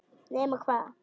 Nema hvað!